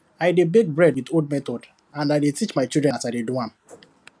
i dey bake bread with old method and i dey teach my children as i dey do am